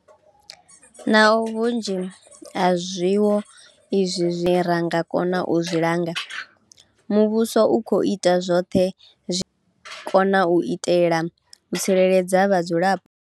Naho vhunzhi ha zwiwo izwi zwine ra nga kona u zwi langa, muvhuso u khou ita zwoṱhe zwine wa nga kona u itela u tsireledza vhadzulapo.